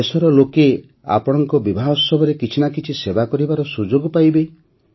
ଦେଶର ଲୋକେ ଆପଣଙ୍କ ବିବାହୋତ୍ସବରେ କିଛି ନା କିଛି ସେବା କରିବାର ସୁଯୋଗ ପାଇବେ